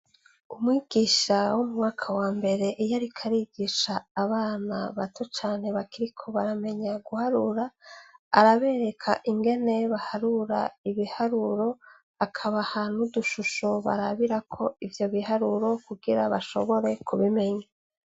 Umwigisha wo mumwaka wa mbere iyo ariko yigisha abana bato cane bakiriko baramenya guharira, arabereka ingene baharura ibiharuro, akabaha n'udushusho barabirako ivyo bihahuro kugira bashobore kubimenya.